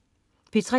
P3: